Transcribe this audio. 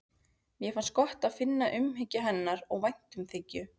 Mér fannst gott að finna umhyggju hennar og væntumþykju.